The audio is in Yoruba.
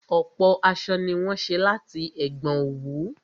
Ọ̀pọ̀ aṣọ ni wọ́n ṣé láti ẹ̀gbọn òwú